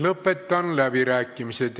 Lõpetan läbirääkimised.